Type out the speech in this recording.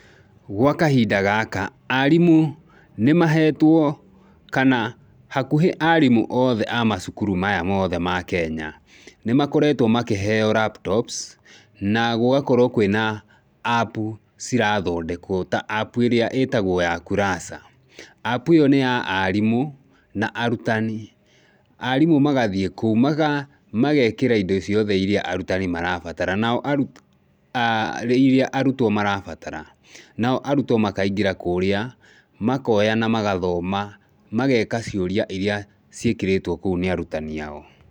Gwa kahinda gaka arimũ nĩ mahetwo, kana hakuhĩ arimũ othe a macukuru maya mothe ma Kenya nĩ makoretwo makĩheo laptops na gũgakorwo kwĩna app cirathondekwo ta app ĩrĩa ĩtagwo ya Kurasa. App ĩyo nĩ ya arimũ na arutani. Arimũ magathiĩ kũu mageekĩra indo ciothe iria arutani marabatara. Nao arutwo, iria arutwo marabatara. Nao arutwo makaingĩra kũrĩa makooya na magathoma, mageeka ciũria iria ciĩkĩrĩtwo kũu nĩ arutani ao.